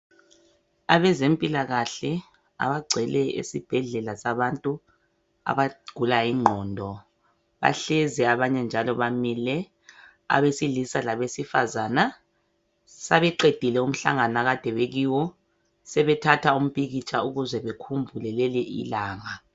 Abezempilakahle abagcwele esibhedlela sabantu abagula ingqondo bahlezi abanye njalo bamile abesilisa labesifazana sebeqedile umhlangano akade bekiwo sebethatha umpikitsha ukuze bakhumbule leli ilanga.